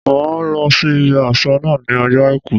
Màá lọ sí ibi àsẹ̀ náà ní ọjọ́ Àìkú